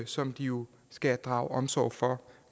som de jo skal drage omsorg for